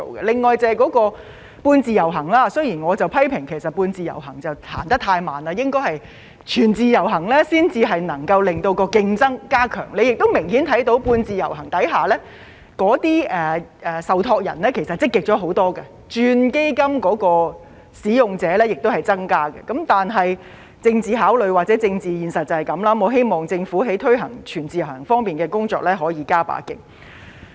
另外，就是"半自由行"，雖然我批評"半自由行"走得太慢，應該要"全自由行"才可以加強競爭，大家亦明顯看到在"半自由行"下，受託人其實是積極了很多的，轉換基金的使用者也有增加，但政治考慮或政治現實便是這樣，我希望政府在推行"全自由行"的工作上可以再加把勁。